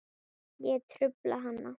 Ég trufla hana.